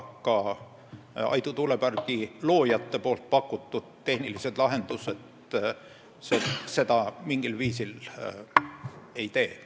Ka Aidu tuulepargi loojate pakutud tehnilised lahendused seda mingil viisil ei tee.